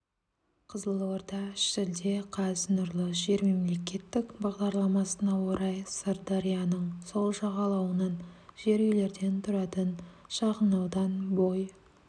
қызылорда шілде қаз нұрлы жер мемлекеттік бағдарламасына орай сырдарияның сол жағалауынан жер үйлерден тұратын шағынаудан бой